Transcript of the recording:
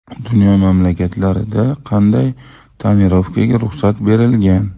Dunyo mamlakatlarida qanday tonirovkaga ruxsat berilgan?